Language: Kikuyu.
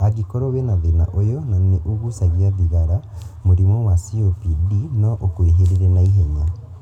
Angĩkorwo wĩna thĩna ũyũ na nĩũgucagia thigara, mũrimũ wa COPD no ũkwĩhĩrĩrie na ihenya